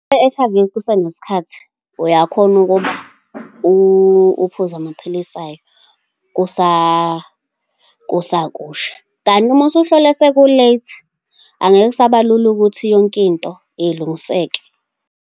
I-H_I_V kusanesikhathi uyakhona ukuba uphuze amaphilisi ayo, kusakusha. Kanti uma usuhlolwe seku-late angeke kusaba lula ukuthi yonkinto ilungiseke.